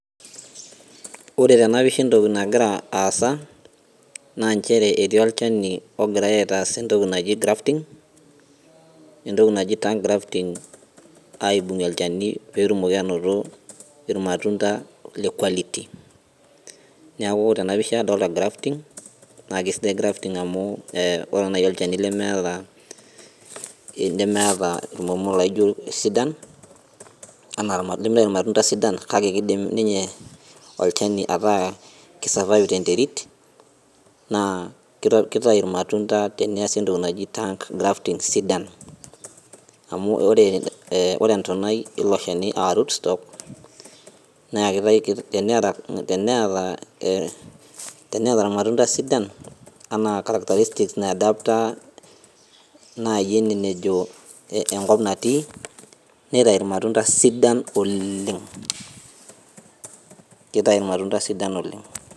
Ore tenapisha entoki nagira aasa, na njere etii olchani ogirai aitaas entoki naji grafting, entoki naji tongue grafting aibung'ie olchani petumoki anoto irmatunda le quality. Neeku tenapisha adolta grafting, na kesidai grafting amu ore nai olchani lemeeta enkomo naijo kesidan, anaa lemeeta irmatunda sidan, kake kidim ninye olchani ataa ki survive tenterit, naa kitayu irmatunda teneesi entoki naji tongue grafting sigan. Amu ore entonai ilo shani ah root stock, naa teneeta irmatunda sidan, anaa characteristic nai adapter nai ene nejo enkop natii, netayu irmatunda sidan oleeng'. Kitayu irmatunda sidan oleng'.